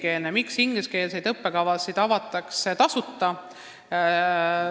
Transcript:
Miks avatakse ingliskeelseid tasuta õppekavasid?